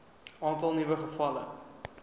aantal nuwe gevalle